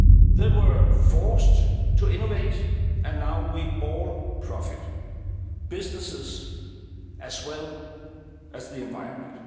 They were forced to innovate and now we all profit businesses as well as the environment.